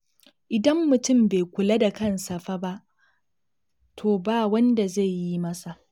Idan mutum bai kula da kansa fa ba, to ba wanda zai yi masa